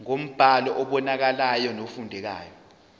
ngombhalo obonakalayo nofundekayo